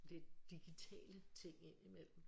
Det digitale ting ind i mellem